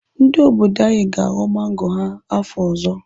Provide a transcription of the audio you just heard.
Ndị obodo anyị ga-aghọ mango ha afọ ọzọ.